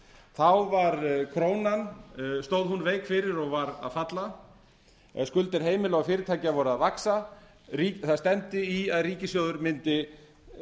þá stóð krafan veik fyrir og var að falla eða skuldir heimila og fyrirtækja voru að vaxa það stefndi í að ríkissjóður mundi